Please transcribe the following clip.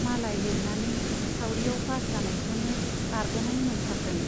मालाय लिरनानै सावरियाव पास जानायखौनो बारग'नाय मोनथारदों।